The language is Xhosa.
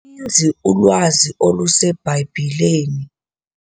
ninzi ulwazi oluseBhayibhileni.